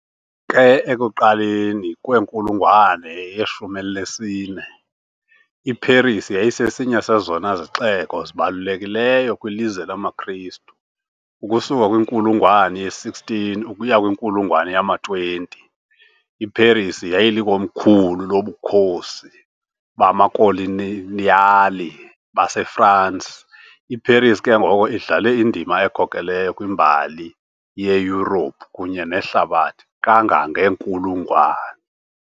Ke, ekuqaleni kwenkulungwane yeshumi elinesine, iParis yayisesinye sezona zixeko zibalulekileyo kwilizwe lamaKristu. Ukusuka kwinkulungwane ye-16 ukuya kwinkulungwane yama-20, iParis yayilikomkhulu loBukhosi bamaKoloniyali baseFrance. IParis ke ngoko idlale indima ekhokelayo kwimbali yeYurophu kunye nehlabathi kangangeenkulungwane.